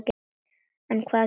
En hvað gerist.